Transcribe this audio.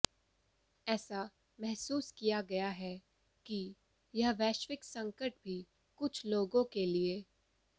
ऐसा महसूस किया गया है कि यह वैश्विक संकट भी कुछ लोगों के लिए